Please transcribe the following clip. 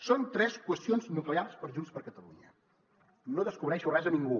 són tres qüestions nuclears per a junts per catalunya no descobreixo res a ningú